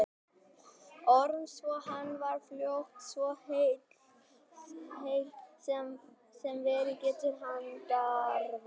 Orms svo hann varð fljótt svo heill sem verið getur handarvani.